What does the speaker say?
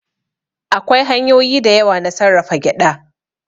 Akwai hanyoyi da yawa na sarrafa gyaɗa.